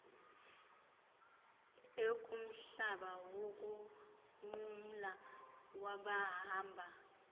ekumhlaba wokunqumla kwabahamba